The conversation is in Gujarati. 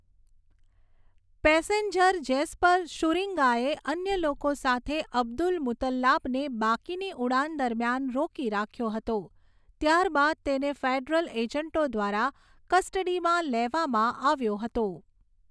પેસેન્જર જેસ્પર શુરીંગાએ અન્ય લોકો સાથે અબ્દુલ મુતલ્લાબને બાકીની ઉડાન દરમિયાન રોકી રાખ્યો હતો, ત્યારબાદ તેને ફેડરલ એજન્ટો દ્વારા કસ્ટડીમાં લેવામાં આવ્યો હતો.